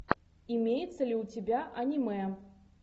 имеется ли у тебя аниме